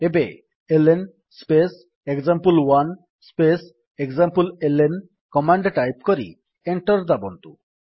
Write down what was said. ଏବେ L N space example space ଏକ୍ସାମ୍ପଲେଲ୍ନ command type କରି ଏଣ୍ଟର୍ ଦାବନ୍ତୁ